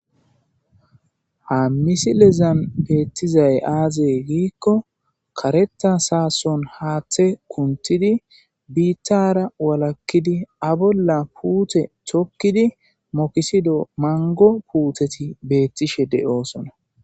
ha misilezan beettizay aazey giikko kareta saason haaththe kuntidi biittara walakkidi a bolla puute chokkidi mokisido mango puuteti beettishe de7oosona